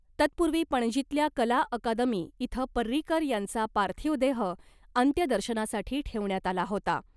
तत्पूर्वी पणजीतल्या कला अकादमी इथं पर्रीकर यांचा पार्थिव देह अंत्यदर्शनासाठी ठेवण्यात आला होता .